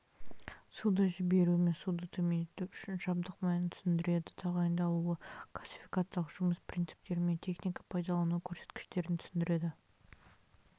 суды жіберу мен суды төмендету үшін жабдық мәнін түсіндіреді тағайындалуы классификациялық жұмыс принциптері мен техника-пайдалану көрсеткіштерін түсіндіреді